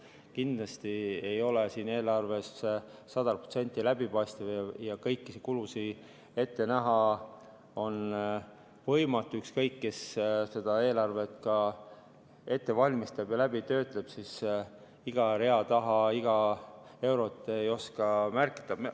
Kindlasti ei ole eelarve sada protsenti läbipaistev ja kõiki kulusid ette näha on võimatu, ükskõik, kes eelarvet ette valmistab ja läbi töötab, iga rea taha iga eurot ta ei oska märkida.